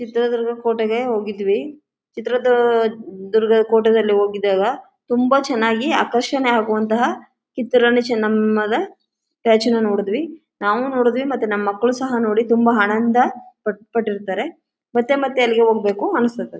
ಚಿತ್ರದುರ್ಗದ ಕೋಟೆಗೆ ಹೋಗಿದ್ವಿ ಇದರದ್ದು ದುರ್ಗದ ಕೋಟೆದಲ್ಲಿ ಹೋಗಿದ್ದಾಗ ತುಂಬಾ ಚೆನ್ನಾಗಿ ಆಕರ್ಷಣೆಯಾಗುವಂತಹ ಕಿತ್ತೂರ್ ರಾಣಿ ಚೆನ್ನಮ್ಮನ ಸ್ಟ್ಯಾಚು ನ ನೋಡಿದ್ವಿ ನಾವೂ ನೋಡಿದ್ವಿ ಮತ್ತೆ ನಮ್ಮ ಮಕ್ಕಳು ಸಹ ನೋಡಿ ತುಂಬ ಆನಂದ ಪಟ್ಟಿರ್ತಾರೆ ಮತ್ತೆ ಮತ್ತೆ ಅಲ್ಲಿಗೆ ಹೋಗ್ಬೇಕು ಅನಿಸುತ್ತೆ.